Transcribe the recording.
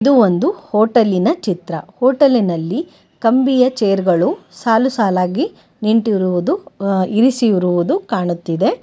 ಇದು ಒಂದು ಹೊಟೇಲಿನ ಚಿತ್ರ ಹೋಟೆಲಿನಲ್ಲಿ ಕಂಬಿಯ ಚೇರ್ ಗಳು ಸಾಲುಸಾಲಾಗಿ ನಿಂಟಿರುವುದು ಅ ಇರಿಸಿರುವುದು ಕಾಣುತ್ತಿದೆ.